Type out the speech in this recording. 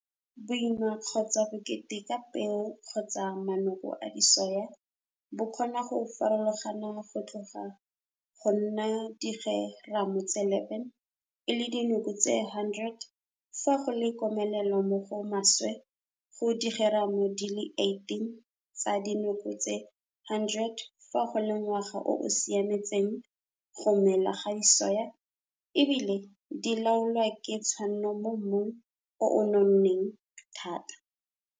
Boima kgotsa bokete ba peo kgotsa manoko a disoya bo kgona go farologana go tloga go nna digeramo tse 11 e le dinoko tse 100 fa go le komelelo mo go maswe go digeramo tse di leng 18 tsa dinoko tse 100 fa go le ngwaga o o siametseng go mela ga disoya e bile di laolwa ka tshwanno mo mmung o o nonneng thata.